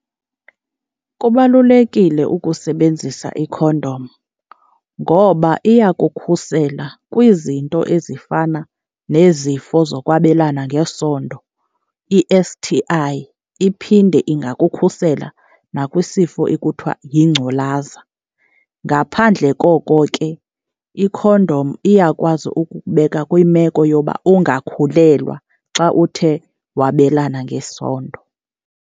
Kubalulekile ukusebenzisa ikhondom ngoba iyakukhusela kwizinto ezifana nezifo zokwabelana ngesondo, i-S_T_I, iphinde ingakukhusela nakwisifo ekuthiwa yingculaza. Ngaphandle koko ke ikhondom iyakwazi ukukubeka kwimeko yoba ungakhulelwa xa uthe wabelana ngesondo.